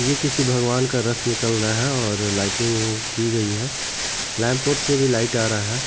ये किसी भगवान का रथ निकल रहा है और लाइटिंग की गई है से भी लाइट आ रहा है।